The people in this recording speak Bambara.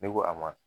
Ne ko a ma